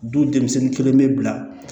Du denmisɛnnin kelen bɛ bila